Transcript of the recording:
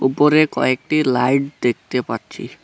উপরে কয়েকটি লাইট দেখতে পাচ্ছি।